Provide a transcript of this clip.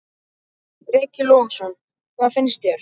Breki Logason: Hvað finnst þér?